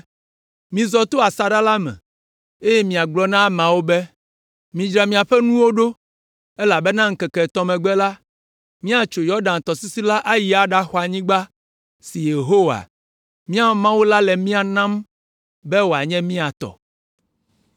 “Mizɔ to asaɖa la me, eye miagblɔ na ameawo be, ‘Midzra miaƒe nuwo ɖo, elabena le ŋkeke etɔ̃ megbe la, miatso Yɔdan tɔsisi la ayi aɖaxɔ anyigba si Yehowa, miaƒe Mawu la le mia nam be wòanye mia tɔ.’ ”